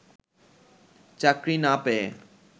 চাকরি না পেয়ে